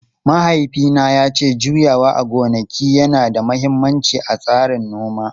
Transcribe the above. Mahaifina ya ce juyawa a gonaki yana da mahimmanci a tsarin noma.